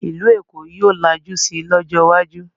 Ìlú Èkó yóò lajú si lọ́jọ́ iwájú